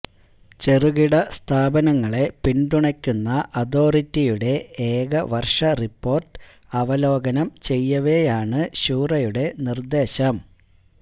ചെറുകിട സ്ഥാപനങ്ങളെ പിന്തുണക്കുന്ന അതോറിറ്റിയുടെ ഏക വര്ഷ റിപ്പോര്ട്ട് അവലോകനം ചെയ്യവെയാണ് ശൂറയുടെ നിര്ദേശം